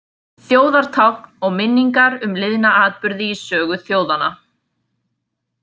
Þjóðartákn og minningar um liðna atburði í sögu þjóðanna.